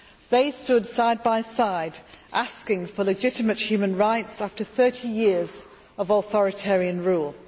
They stood side by side asking for legitimate human rights after 30 years of authoritarian rule.